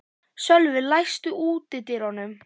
Sölvi, læstu útidyrunum.